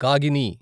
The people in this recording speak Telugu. కాగిని